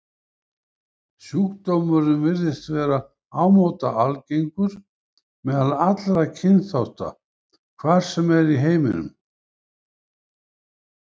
Sjúkdómurinn virðist vera ámóta algengur meðal allra kynþátta, hvar sem er í heiminum.